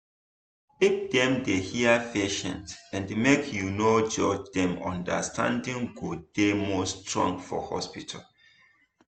if dem dey hear patient and make you no judge dem understanding go dey more strong for hospital.